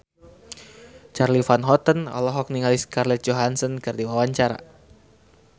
Charly Van Houten olohok ningali Scarlett Johansson keur diwawancara